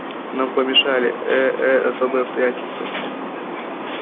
нам помешали э-э особые обстоятельства